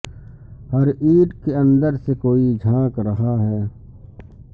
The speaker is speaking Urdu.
ہر اینٹ کے اندر سے کوئی جھانک رہا ہے